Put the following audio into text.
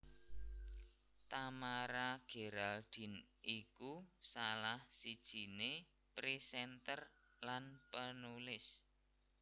Tamara Geraldine iku salah sijiné presenter lan penulis